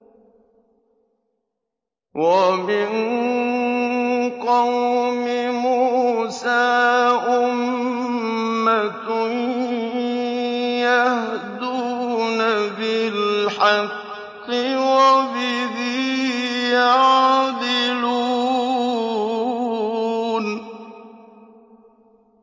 وَمِن قَوْمِ مُوسَىٰ أُمَّةٌ يَهْدُونَ بِالْحَقِّ وَبِهِ يَعْدِلُونَ